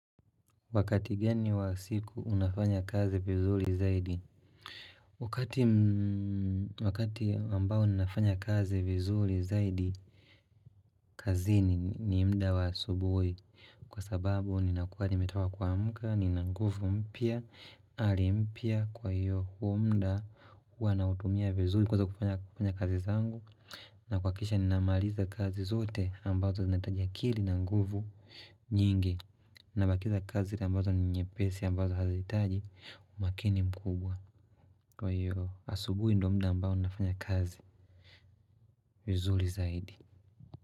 Wakati gani wa siku unafanya kazi vizuri zaidi Wakati wakati ambao ninafanya kazi vizuri zaidi kazi ni mda wa asubui kwa sababu ni nakuwa nimetoka kuamka ni nanguvu mpya hali mpya kwa hiyo huo mda huwa na utumia vizuri kwanza kufanya kazi zangu na kuahakikisha ni namaliza kazi zote ambazo zinahitaji akili na nguvu nyingi na bakiza kazi ambazo ni nye pesi ambazo hazihitaji umakini mkubwa Kwa hiyo asubuhi ndo mda ambao nafanya kazi vizuri zaidi.